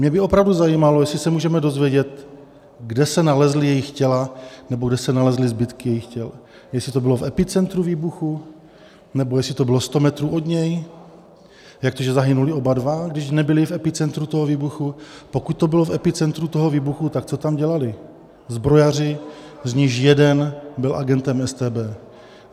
Mě by opravdu zajímalo, jestli se můžeme dozvědět, kde se nalezla jejich těla nebo kde se nalezly zbytky jejich těl, jestli to bylo v epicentru výbuchu, nebo jestli to bylo 100 metrů od něj, jak to, že zahynuli oba dva, když nebyli v epicentru toho výbuchu, pokud to bylo v epicentru toho výbuchu, tak co tam dělali, zbrojaři, z nichž jeden byl agentem StB.